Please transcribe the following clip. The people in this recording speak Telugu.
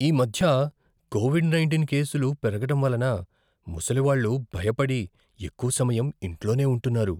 ఈ మధ్య కోవిడ్ నైంటీన్ కేసులు పెరగడం వలన ముసలివాళ్ళు భయపడి ఎక్కువ సమయం ఇంట్లోనే ఉంటున్నారు.